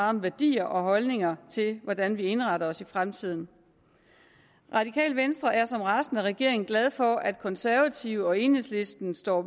om værdier og holdninger til hvordan vi indretter os i fremtiden radikale venstre er som resten af regeringen glad for at de konservative og enhedslisten står